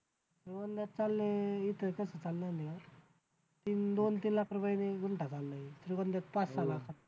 श्रीगोंद्यात चाललंय दोन तीन लाख रुपये गुंठा चाललंय श्रीगोंद्यात पाच सहा लाख